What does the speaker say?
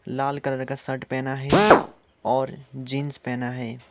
लाल colour का shirt पहना है और जींस पहना है।